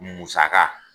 Musaka